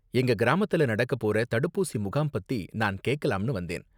எங்க கிராமத்துல நடக்கப்போற தடுப்பூசி முகாம் பத்தி நான் கேக்கலாம்னு வந்தேன்.